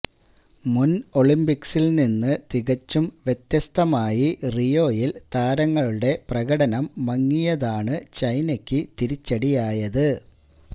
മുന് ഒളിമ്പിക്സില് നിന്ന് തികച്ചും വ്യത്യസ്തമായി റിയോയില് താരങ്ങളുടെ പ്രകടനം മങ്ങിയതാണ് ചൈനക്ക് തിരിച്ചടിയായത്